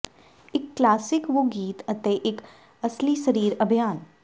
ਇੱਕ ਕਲਾਸਿਕ ਵੁ ਗੀਤ ਅਤੇ ਇੱਕ ਅਸਲੀ ਸਰੀਰ ਅਭਿਆਨ